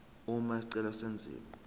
uma isicelo senziwa